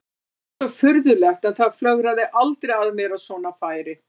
Það er svo furðulegt en það flögraði aldrei að mér að svona færi.